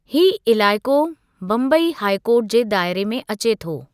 हीअ इलाइक़ो Bombay high court जे दायरे में अचे थो।